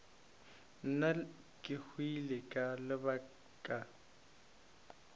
nna ke hwile ka lebaka